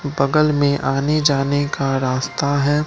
बगल में आने जाने का रास्ता है।